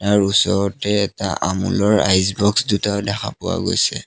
তাৰ ওচৰতে এটা আমূলৰ আইচ বক্স দুটাও দেখা পোৱা গৈছে।